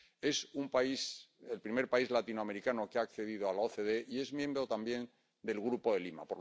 es el primer país latinoamericano que ha accedido a la OCDE y es miembro también del Grupo de Lima.